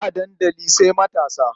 Hira a dandali sai matasa.